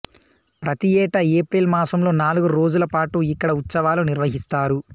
ప్రతియేటా April మాసంలో నాలుగు రోజులపాటు ఇక్కడ ఉత్సవాలు నిర్వహిస్తారు